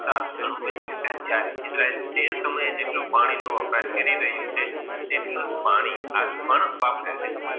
ખાત ખરું વધ્યું હસે જ્યારે, ઈજરાયેલ તે સમયે જેટલું પાણી નું વપરાશ કરી રહી હસે તેટલુ જ પાણી અજ પણ વાપરે છે.